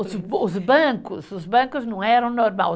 Os os bancos, os bancos não eram normal.